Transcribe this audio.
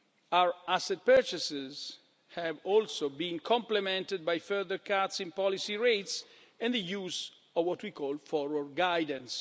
Our asset purchases have also been complemented by further cuts in policy rates and the use of what we call forward guidance'.